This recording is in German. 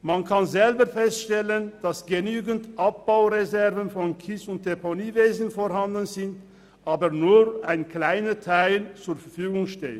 Man kann selber feststellen, dass genügend Abbaureserven im Kies- und Deponiewesen vorhanden sind, aber nur ein kleiner Teil zur Verfügung steht.